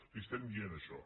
li estem dient això